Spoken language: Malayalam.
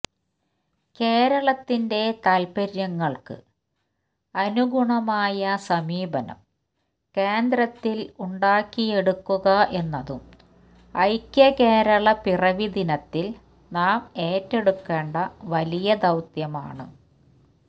കേരളത്തിന്റെ താല്പര്യങ്ങള്ക്ക് അനുഗുണമായ സമീപനം കേന്ദ്രത്തില് ഉണ്ടാക്കിയെടുക്കുക എന്നതും ഐക്യകേരള പിറവി ദിനത്തില് നാം ഏറ്റെടുക്കേണ്ട വലിയ ദൌത്യമാണ്